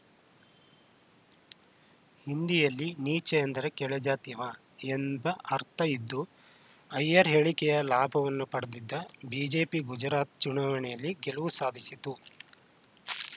ಹಿಂದಿಯಲ್ಲಿ ನೀಚೆ ಎಂದರೆ ಕೆಳಜಾತಿಯವ ಎಂಬ ಅರ್ಥ ಇದ್ದು ಅಯ್ಯರ್‌ ಹೇಳಿಕೆಯ ಲಾಭವನ್ನು ಪಡೆದಿದ್ದ ಬಿಜೆಪಿ ಗುಜರಾತ್‌ ಚುನಾವಣೆಯಲ್ಲಿ ಗೆಲುವು ಸಾಧಿಸಿತ್ತು